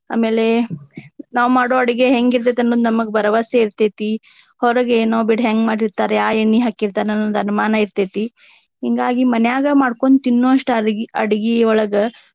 ಆಮೇಲೆ ನಾವ ಮಾಡೊ ಅಡುಗೆ ಹೆಂಗ ಇರ್ತೆತಿ ಅನ್ನೋದ ನಮಗ ಬರವಸೆ ಇರ್ತೆತಿ. ಹೊರಗ ಏನೊ ಬಿಡ ಹೆಂಗ ಮಾಡಿರ್ತಾರ ಯಾವ ಎಣ್ಣಿ ಹಾಕಿರ್ತಾರ ಅನ್ನೋದ ಅನುಮಾನ ಇರ್ತೆತಿ. ಹಿಂಗಾಗಿ ಮನ್ಯಾಗ ಮಾಡ್ಕೊಂಡ ತಿನ್ನುವಷ್ಟು ಅಡಗಿ~ ಅಡಗಿಯೊಳಗ.